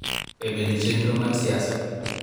E bedo e chenro mar siasa.